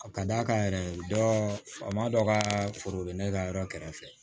A ka d'a kan yɛrɛ faama dɔ ka foro be ne ka yɔrɔ kɛrɛfɛ